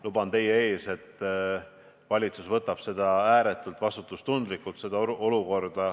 Luban teile, et valitsus suhtub sellesse olukorda ääretu vastutustundega.